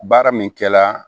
Baara min kɛla